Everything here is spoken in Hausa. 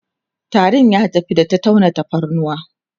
tarin ya tafi da ta tauna tafarnuwa